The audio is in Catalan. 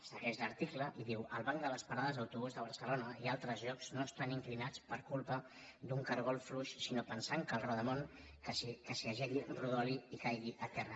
segueix l’article i diu els bancs de les parades d’autobús de barcelona i altres llocs no estan inclinats per culpa d’un cargol fluix sinó pensant que el rodamón que s’hi ajegui rodoli i caigui a terra